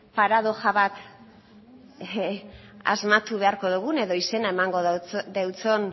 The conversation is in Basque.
paradoxa bat asmatu beharko dugun edo izena emango deutson